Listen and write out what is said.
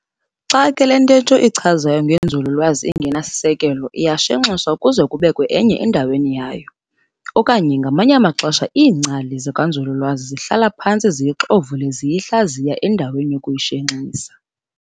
Xa ke le ntehto ichazayo ngenzululwazi ingenasisekelo, iyashenxiswa kuze kubekwe enye endaweni yayo. Okanye, ngamanye amaxesha iingcali zakwanzululwazi zihlala phantsi ziyixovule ziyihlaziya endaweni yokuyishenxisa.